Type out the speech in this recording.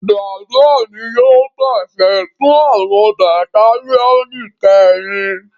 Bàbá mi yóò pàṣẹ fún àwọn Batalionu keerin